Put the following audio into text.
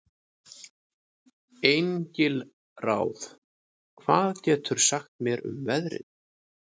Engilráð, hvað geturðu sagt mér um veðrið?